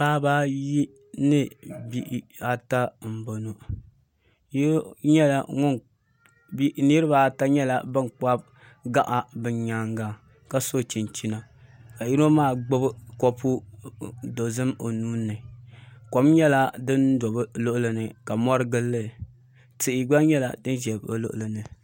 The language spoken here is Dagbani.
Paɣaba ayi ni bihi ata m boŋɔ niriba ata nyɛla ban kpabi gaɣa bɛ nyaanga ka so chinchina ka yino maa gbibi kopu dozim o nuuni kom nyɛla din do bɛ luɣuli ni ka mori gilili tihi gba nyɛla din ʒɛ bɛ luɣuli ni.